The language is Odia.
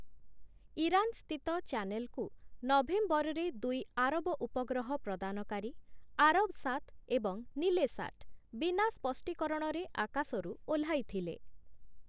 ଇରାନ ସ୍ଥିତ ଚ୍ୟାନେଲକୁ ନଭେମ୍ବରରେ ଦୁଇ ଆରବ ଉପଗ୍ରହ ପ୍ରଦାନକାରୀ, 'ଆରବସାଟ୍' ଏବଂ 'ନିଲେସାଟ୍' ବିନା ସ୍ପଷ୍ଟୀକରଣରେ ଆକାଶରୁ ଓହ୍ଲାଇ ଥିଲେ ।